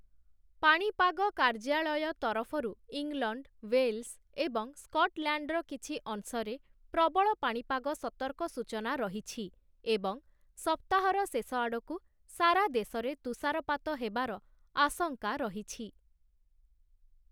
ପାଣିପାଗ କାର୍ଯ୍ୟାଳୟ ତରଫରୁ ଇଂଲଣ୍ଡ, ୱେଲ୍ସ ଏବଂ ସ୍କଟଲ୍ୟାଣ୍ଡର କିଛି ଅଂଶରେ ପ୍ରବଳ ପାଣିପାଗ ସତର୍କ ସୂଚନା ରହିଛି, ଏବଂ ସପ୍ତାହର ଶେଷ ଆଡ଼କୁ ସାରା ଦେଶରେ ତୁଷାରପାତ ହେବାର ଆଶଙ୍କା ରହିଛି ।